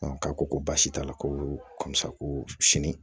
k'a ko ko baasi t'a la komi sa ko sini